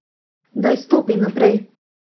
Daj stopi naprej!